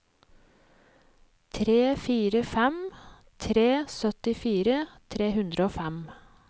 tre fire fem tre syttifire tre hundre og fem